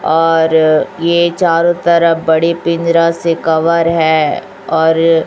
और ये चारो तरफ बड़े पिजरा से कवर है और--